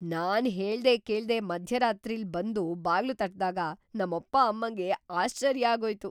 ನಾನ್ ಹೇಳ್ದೆ ಕೇಳ್ದೆ ಮಧ್ಯರಾತ್ರಿಲ್‌ ಬಂದು ಬಾಗ್ಲು ತಟ್ದಾಗ ನಮ್ಮಪ್ಪ ಅಮ್ಮಂಗೆ ಆಶ್ಚರ್ಯ ಆಗೋಯ್ತು.